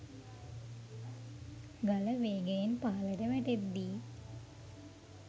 ගල වේගයෙන් පහළට වැටෙද්දී